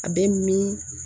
A bɛ min